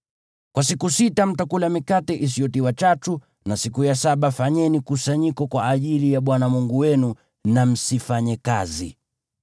Kwa siku sita mtakula mikate isiyotiwa chachu na siku ya saba fanyeni kusanyiko kwa ajili ya Bwana Mungu wenu na msifanye kazi.